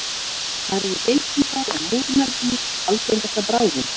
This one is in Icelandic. Þar eru geitur og múrmeldýr algengasta bráðin.